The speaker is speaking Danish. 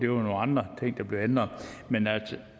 nogle andre ting der blev ændret men at